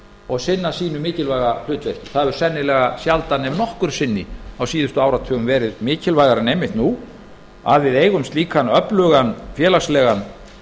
og sinna sínu mikilvæga hlutverki það hefur sennilega sjaldan ef nokkru sinni á síðustu áratugum verið mikilvægara en einmitt nú að við eigum slíkan öflugan félagslegan